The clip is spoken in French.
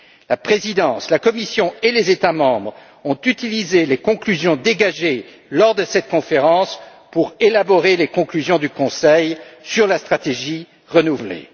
La présidence, la Commission et les États membres ont utilisé les conclusions dégagées lors de cette conférence pour élaborer les conclusions du Conseil sur la stratégie renouvelée.